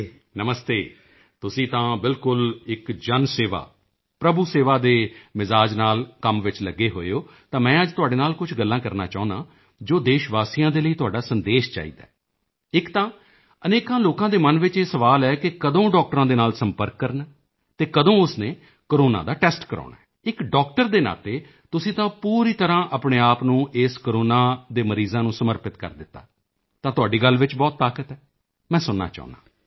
ਨਮਸਤੇ ਤੁਸੀਂ ਤਾਂ ਬਿਲਕੁਲ ਇੱਕ ਜਨ ਸੇਵਾ ਪ੍ਰਭੂ ਸੇਵਾ ਦੇ ਮਿਜਾਜ਼ ਨਾਲ ਕੰਮ ਵਿੱਚ ਲੱਗੇ ਹੋਏ ਹੋ ਤਾਂ ਮੈਂ ਅੱਜ ਤੁਹਾਡੇ ਨਾਲ ਕੁਝ ਗੱਲਾਂ ਕਰਨਾ ਚਾਹੁੰਦਾ ਹਾਂ ਜੋ ਦੇਸ਼ਵਾਸੀਆਂ ਦੇ ਲਈ ਤੁਹਾਡਾ ਸੰਦੇਸ਼ ਚਾਹੀਦੈ ਇੱਕ ਤਾਂ ਅਨੇਕਾਂ ਲੋਕਾਂ ਦੇ ਮਨ ਵਿੱਚ ਇਹ ਸਵਾਲ ਹੈ ਕਿ ਕਦੋਂ ਡਾਕਟਰਾਂ ਦੇ ਨਾਲ ਸੰਪਰਕ ਕਰਨਾ ਹੈ ਅਤੇ ਕਦੋਂ ਉਸ ਨੇ ਕੋਰੋਨਾ ਦਾ ਟੈਸਟ ਕਰਵਾਉਣਾ ਹੈ ਇੱਕ ਡਾਕਟਰ ਦੇ ਨਾਤੇ ਤੁਸੀਂ ਤਾਂ ਪੂਰੀ ਤਰ੍ਹਾਂ ਆਪਣੇ ਆਪ ਨੂੰ ਇਸ ਕੋਰੋਨਾ ਦੇ ਮਰੀਜ਼ਾਂ ਨੂੰ ਸਮਰਪਿਤ ਕਰ ਦਿੱਤਾ ਤਾਂ ਤੁਹਾਡੀ ਗੱਲ ਵਿੱਚ ਬਹੁਤ ਤਾਕਤ ਹੈ ਮੈਂ ਸੁਣਨਾ ਚਾਹੁੰਦਾ ਹਾਂ